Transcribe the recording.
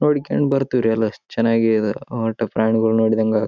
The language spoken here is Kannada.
ನೋಡಿಕಂಡ್ ಬರ್ತಿವಿರಿ ಎಲ್ಲರ ಚೆನ್ನಾಗಿ ಒಟ್ಟಿಗೆ ಪ್ರಾಣಿಗಳು ನೋಡಿದಂಗ್ ಅವ್--